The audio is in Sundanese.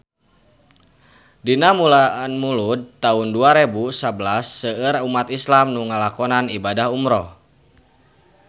Dina bulan Mulud taun dua rebu sabelas seueur umat islam nu ngalakonan ibadah umrah